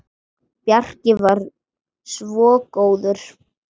Bjarki var svo góður.